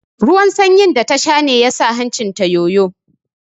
Ruwan sanyin da ta sha ne ya sa hancin ta yoyo